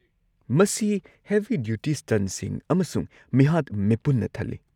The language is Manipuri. ꯃꯁꯤ ꯍꯦꯕꯤ ꯗ꯭ꯌꯨꯇꯤ ꯁ꯭ꯇꯟꯠꯁꯤꯡ ꯑꯃꯁꯨꯡ ꯃꯤꯍꯥꯠ-ꯃꯤꯄꯨꯟꯅ ꯊꯜꯂꯤ꯫